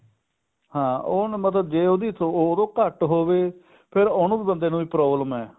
ਹਾਂ ਉਹਨੂੰ ਮਤਲਬ ਜੇ ਉਹਦੀ ਉਹਤੋਂ ਘੱਟ ਹੋਵੇ ਫ਼ੇਰ ਉਹਨੂੰ ਬੰਦੇ ਨੂੰ ਵੀ problem ਹੈ